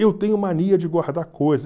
Eu tenho mania de guardar coisa.